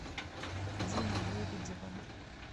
димой лебедевым